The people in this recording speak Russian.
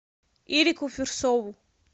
иреку фирсову